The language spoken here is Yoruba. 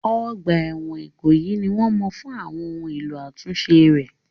Ọgbà ẹ̀wọ̀n Ikoyi ni wọ́n mọ̀ fún àwọn ohun èlò àtúnṣe rẹ̀.